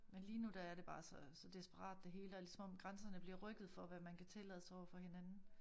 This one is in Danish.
Men lige nu der er det bare så så desperat det hele og ligesom om grænserne bliver rykket for hvad man kan tillade sig overfor hinanden